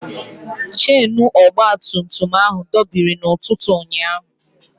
Chenu ọgbatumtum ahụ dọbiri n'ụtụtụ ụnyaahụ.